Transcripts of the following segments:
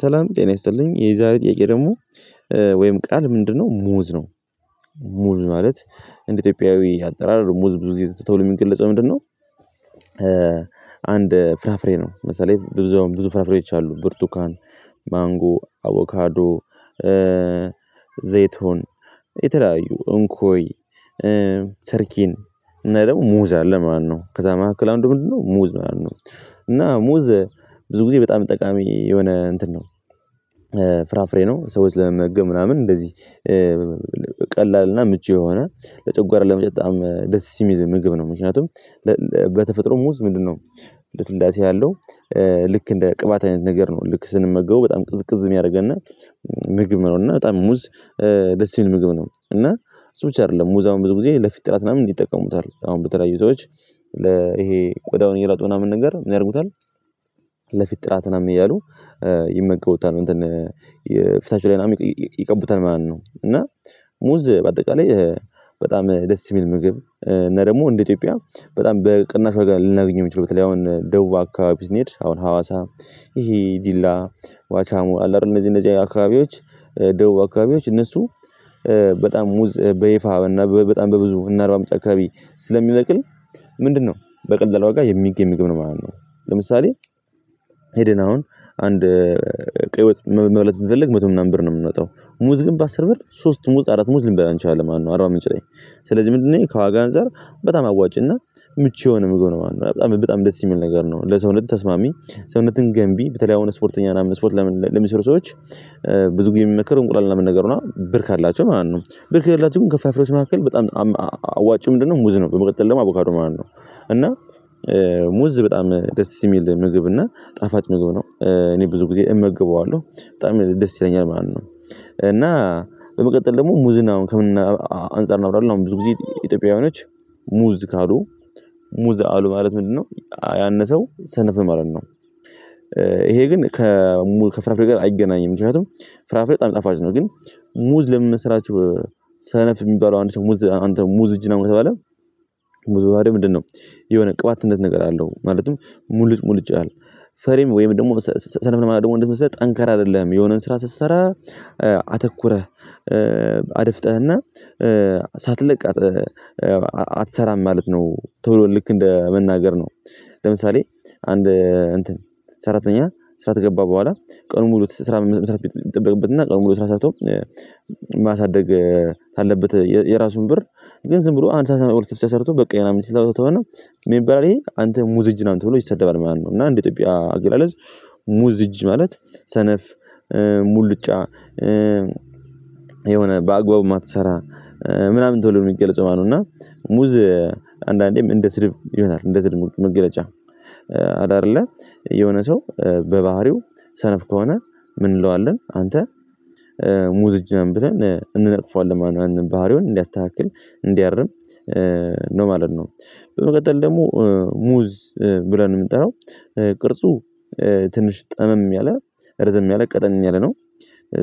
ሰላም ጤና ይስጥልኝ፣ የዛሬ ጥያቄ ደግሞ ወይም ቃል ምንድነው ሙዝ ነው። ሙዝ ማለት እንደ ኢትዮጵያዊ አጠራር ሙዝ ብዙ ተብሎ የሚገለጸው ምንድነው? አንድ ፍራፍሬ ነው። ለምሳሌ ብዙ ፍራፍሬዎች አሉ ብርቱካን፣ ማንጎ፣ አቮካዶ፣ ዘይቱን የተለያዩ፣ እንኮይ፣ ሰርኪን እና ደግሞ ሙዝ አለ ማለት ነው። ከዛ መካከል አንዱ ምንድነው? ሙዝ ማለት ነው። እና ሙዝ ብዙ ጊዜ በጣም ጠቃሚ የሆነ እንትን ነው ፍራፍሬ ነው። ሰዎች ለመመገብ ምናምን እንደዚህ ቀላልና ምቹ፣ የሆነ ለጨጓራ ለፈጨት በጣም ደሰስ የሚል ምግብ ነው። ምክንያቱም በተፈጥሮ ሙዝ ምንድነው? ልስላሴ ያለው ልክ እንደ ቅባት አይነት ነገር ነው። ልክ ስንመገበው በጣም ቅዝቅዝ የሚያደርግና ምግብ ማለት ነው። እና በጣም ሙዝ ደስ የሚል ምግብ ነው። እና ሰው ብቻ አይደለም ሙዛ አሁን ብዙ ጊዜ ለፊት ጥራት ምናምን ይጠቀሙታል። አሁን በተለያዩ ሰዎች ለ ይሄ ቆዳውን እየረጡ ምናምን ነገር ምን ያደርጉታል? ለፊት ጥራት ነው የሚለው ይመገቡታል እንትን የፍታቸው ላይ ምናምን ይቀቡታል ማለት ነው። እና ሙዝ በአጠቃላይ በጣም ደስ የሚል ምግብ እና ደግሞ እንደ ኢትዮጵያ በጣም በቅናሽ ዋጋ ልናገኝ የምንችለው፣ በተለይ አሁን ደቡብ አካባቢ ስንሄድ አሁን ሀዋሳ፣ ይሄ ዲላ፣ ዋቻሞ አለ አይደል? እነዚህ እነዚህ አካባቢዎች ደቡብ አካባቢዎች እነሱ በጣም ሙዝ በይፋ በጣም በብዙ እነ አርባምንጭ አካባቢ ስለሚበቅል ምንድነው? በቀላሉ ዋጋ የሚገኝ ምግብ ነው ማለት ነው። ለምሳሌ ሄደን አሁን አንድ ቀይ ወጥ መብለት ብንፈልግ መቶ ምናምን ብር ነው የምንወጣው። ሙዝ ግን በአስር ብር ሶስት ሙዝ፣ አራት ሙዝ ልንበላ አንችልም ማለት ነው አራባምንጭ ላይ። ስለዚህ ምንድነው ይሄ ከዋጋ አንፃር በጣም አዋጭና ምቹ የሆነ ምግብ ነው ማለት ነው። በጣም፣ በጣም ደስ የሚል ነገር ነው። ለሰውነት ተስማሚ፤ ሰውነትን ገንቢ በተለይ አሁን ስፖርተኛ እና ስፖርት ለም ለምሰሩ ሰዎች ብዙ ጊዜ የሚመከር እንቁላል ነው የምን ነገር ነው፣ ብር ካላቸው ማለት ነው። ብር ካላቸው ግን ከፍ ፍራፍሬዎች መካከል በጣም አዋጭ ምንድነው? ሙዝ ነው፣ በመቀጠል ደግሞ አቦካዶ ማለት ነው። እና ሙዝ በጣም ደስ የሚል ምግብ እና ጣፋጭ ምግብ ነው። እኔ ብዙ ጊዜ እመግበዋለሁ። በጣም ደስ ይለኛል ማለት ነው። እና በመቀጠል ደግሞ ሙዝን ከምን አንፃር እናውራለን? አሁን ብዙ ጊዜ ኢትዮጵያውያኖች ሙዝ ካሉ፣ ሙዝ አሉ ማለት ምንድነው ያን ሰው ሰነፍ ነህ ለማት ነው። ይሄ ግን ከፍራፍሬ ጋር አይገናኝም። ምክንያቱም ፍራፍሬ በጣም ጣፋጭ ነው። ግን ሙዝ ለምን መሰላችሁ? ሰነፍ የሚባለው አንድ ሰው ሙዝ አንተ ሙዝ እጅ ነው ከተባለ? ሙዝ በባህሪው ምንድነው? የሆነ ቅባትነት ነገር አለው ማለትም ሙልጭ ሙልጭ ይላል። ፈሪም ወይም ደግሞ ሰነፍ ለመላው ደግሞ እንደት መሰለህ? ጠንከር አይደለህም የሆነን ስራ ስትሰራ አተኩረህ፣ አድፍጠህና ሳትለቅ አትሰራም ማለት ነው፤ ቶሎ ልክ እንደ መናገር ነው። ለምሳሌ አንድ እንትን ሰራተኛ ስራ ከገባ በኋላ ቀኑን ሙሉ ስራ መስራት ቤት የሚጠበቅበት እና ቀኑን ሙሉ ስራ ሰርቶ ማሳደግ ካለበት የራሱን ብር፣ ግን ዝም ብሎ አንድ ሰዓት ሁለት ሰዓት ሰርቶ በቃኝ ምናምን ስላለው ተወነ ምን ይባላል ይሄ? አንተ ሙዝ እጅ ነህ አንተ ብሎ ይሰደባል ማለት ነው። እና እንዴ ኢትዮጵያ አገላለጽ ሙዝ እጅ ማለት ሰነፍ፣ ሙልጫ፣ የሆነ በአግባቡ የማትሰራ፣ ምናምን ተንሎ ነው የሚገለጸው ማለት ነው። እና ሙዝ አንዳንዴም እንደ ስድብ ይሆናል እንደ ስድብ መገለጫ። አለ አይደለ? የሆነ ሰው በባህሪው ሰነፍ ከሆነ ምን እንለዋለን? አንተ ሙዝ እጅ ነህ ብለን እንነቅፈዋለን ማለት ነው ያንን ባህሪውን እንዲያስተካክል፣ እንዲያርም ነው ማለት ነው። በመቀጠል ደግሞ ሙዝ ብለን የምንጠራው ቅርጹ ትንሽ ጠመም ያለ ርዝም ያለ ቀጠን ያለ ነው።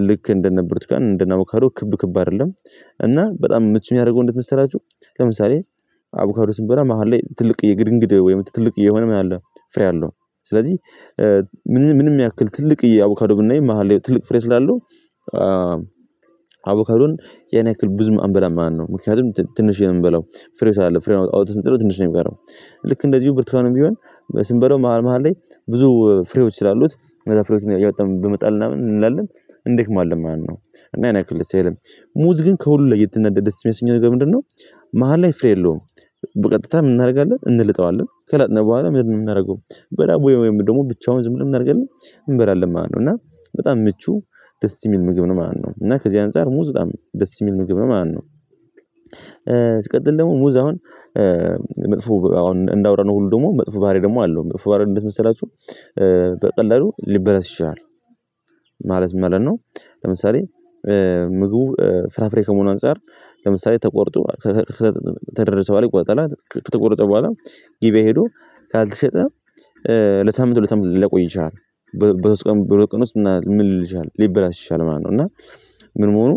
ልክ እንደነ ብሩቱካን፣ እንደነ አቦካዶ ክብ፣ ክብ አይደለም። እና በጣም ምቹ የሚያደርገው እንዴት መሰራችሁ? ለምሳሌ አቡካዶ ስንበላ መሃል ላይ ትልቅዬ የግድንግድ ወይም ትልቅ የሆነ ምን አለው? ፍሬ አለው። ስለዚህ ምንም ያክል ትልቅ አቡካዶ ብናይ መሃል ትልቅ ፍሬ ስላለው አቦከዶን የኔ ያክል ብዙ አንበላም ማለት ነው። ምክንያቱም ትንሽ የምንበላው ፍሬ ስላለው። ፍሬው አውጥተን ስንጥለው ትንሽ ነው የምቀረው። ልክ እንደዚሁ ብርቱካንም ቢሆን ስንበለው መሃል፣ መሃል ላይ ብዙ ፍሬዎች ስላሉት እዛ ፍሬዎችን እያወጣን በመጣል ምናምን ምን እንላለን? እንደክማለን ማለት ነው እና ያን ያክል ደስ አይልም። ሙዝ ግን ከሁሉ ላየት እና ደስ የሚያሰኘው ነገር ምንድነው? መሃል ላይ ፍሬ የለውም። በቀጥታ ምን እናደርጋለን እንልጠዋለን። ከለጥነ በኋላ ምንድነው የምናደርገው? በዳቦ ወይም ደግሞ ብቻውን ዝም ብለን እናደርግልን? እንበላለን ማለት ነው እና በጣም ምቹ ደስ የሚል ምግብ ነው ማለት ነው። እና ከዚህ አንፃር ሙዝ በጣም ደስ የሚል ምግብ ነው ማለት ነው። ስቀጥል ደግሞ ሙዝ አሁን መጥፎ አሁን እንዳወራነው ሁሉ ደግሞ መጥፎ ባህሪ ደግሞ አለው። መጥፎ ባህሪ እንደት መሰላችሁ? በቀላሉ ሊበለስ ይችላል። ማለት መለን ነው? ለምሳሌ ምግቡ ፍራፍሬ ከመሆኑ አንፃር ለምሳሌ ተቆርጦ ከደረሰ በኋላ ይቆረጣል አይደል? ከተቆረጠ በኋላ ገበያ ሄዶ ካልተሸጠ ለሳምንት፣ ለሳምንት ላይቆ ይችላል። በሶስት ቀን፣ በሁለት ቀን ውስጥ ምን ሊል ይችላል? ሊበላ ይችላል ማለት ነው። እና ምን መሆኑ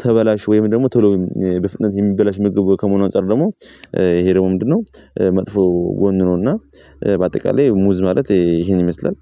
ተበላሽ ወይም ደግሞ ቶሎ በፍጥነት የሚበላሽ ምግብ ከመሆኑ አንፃር ደግሞ ይሄ ደግሞ ምንድነው? መጥፎ ጎን ነው። እና በአጠቃላይ ሙዝ ማለት ይሄን ይመስላል።